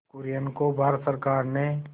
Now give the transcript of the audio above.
कुरियन को भारत सरकार ने